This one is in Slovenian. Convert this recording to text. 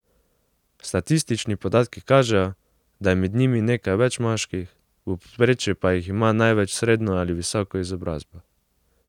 Statistični podatki kažejo, da je med njimi nekaj več moških, v povprečju pa jih ima največ srednjo ali visoko izobrazbo.